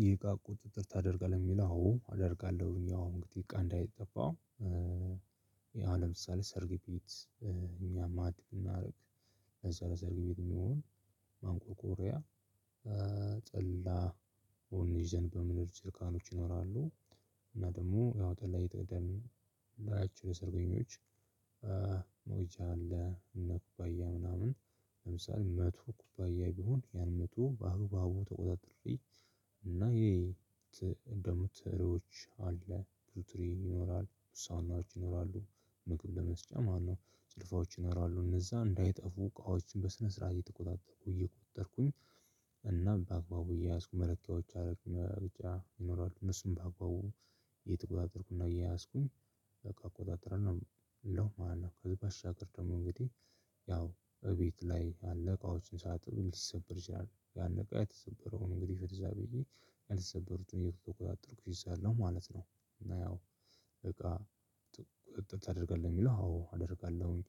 ይህ እቃ ቁጥጥር ታደርጋለህ የሚል አዎ አደርጋለሁ እኛ እንግዲህ እቃ እንዳይጠፋው። ይሄ አሁን ለምሳሌ ሰርግ ቤት እኛም አድብ እናድርግ። ለዛ ለዛ ሰርግ ቤት የሚሆን ማንቆርቆሪያ። ጠላ ወይን ይዘን በምንሄድ ጀርካኖች ይኖራሉ። እና ደግሞ ያው ጠላ እየተጠቀምን ላይ አችሁ ሰርገኞች። ሞጃ አለ እነ ኩባያ ምናምን ለምሳሌ መቶ ኩባያ ቢሆን ያን መቶ በአገባቡ ተቆጣጥሬ። እና ይሄ በቡተሮች አለ ብዙ ትሪ ይኖራል። ሳኖች ይኖራሉ ምግብ ለመስጫ ማነው ጭልፋዎች ይኖራሉ እነዛ እንዳይጠፉ እቃዎችን በስነ ስርዓት እየተቆጣጠርኩ እየቆጠርኩኝ። እናም በአግባቡ እየያዝኩ መለኪያዎች አደረግኩ ብቻ ይኖራሉ እነሱም በአግባቡ እየተቆጣጠርኩና እየያዝኩኝ እቃ አቆጣጥራለሁ ማለት ነው። ከዚህ በሻገር ደግሞ እንግዲህ ያው እቤት ላይ ያለዕቃዎችን ሳጥን ሊሰበር ይችላል። ያንዕቃ የተሰበረውን እንግዲህ ፍትህ እዛ ብዬ የተሰበሩትን እየተቆጣጠርኩኝ እይዛለሁ ማለት ነው። እና ያው እቃ ቁጥጥር ታደርጋለህ? የሚለው አዎ አደርጋለሁኝ።